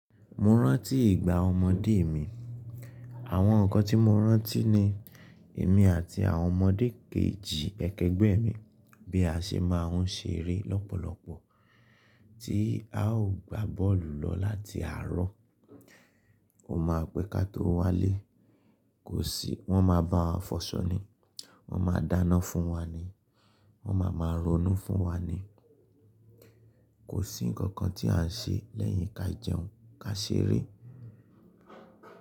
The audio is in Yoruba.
Mo rántí ìgbà ọmọdé mi. Àwọn ǹkan tí mo rántí ni èmi àti àwọn ọmọdé kejì ẹkẹgbẹ́ mi bí a ṣe máa ń ṣeré lọ́pọ̀lọpọ̀ tí a ó gba bọ́ọ̀lù lọ láti àárọ̀. Ó máa pẹ́ ká tó wálé. Kò sí, wọ́n máa bá wa fọṣọ ni, wọ́n máa dáná fún wa ni, wọ́n máa máa ronú fún wa ni. Kò sí ǹkankan tí à ń ṣe lẹ́yìn kí á jẹun kí a ṣeré.